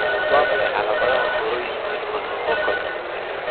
Waa maxay calamadaha iyo calaamadaha choroiditis multifocal?